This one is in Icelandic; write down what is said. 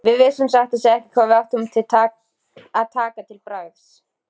Við vissum satt að segja ekki hvað við áttum að taka til bragðs.